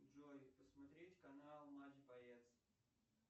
джой посмотреть канал матч боец